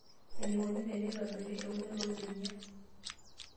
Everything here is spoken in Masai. Eneikoni tenetobiri eunore oorbenia.